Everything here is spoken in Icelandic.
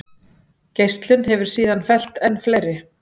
Geislun hefur síðan fellt enn fleiri.